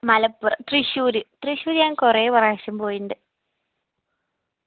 മലപ്പുറം തൃശ്ശൂര് തൃശ്ശൂര് ഞാൻ കൊറേ പ്രാവശ്യം പോയിണ്ട്